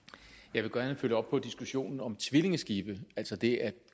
jeg vil gerne følge op på diskussionen om tvillingeskibe altså det at